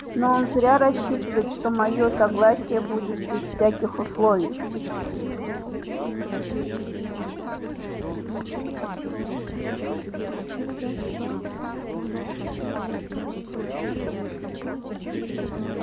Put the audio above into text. но он зря рассчитывает что моё согласие будет без всяких условий